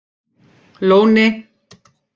Lóni